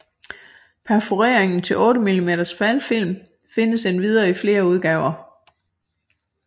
Perforeringen til 8 mm smalfilm findes endvidere i flere udgaver